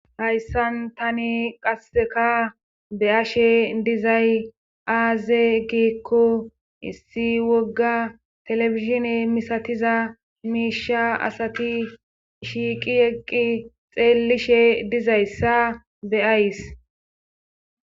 Hayssan tani qasseka be ashe dizay aaze giikko issi wogga telefishine misatiza miisha asati shiiqi eqqi xeellishe dizayssa beyays.